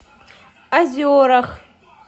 озерах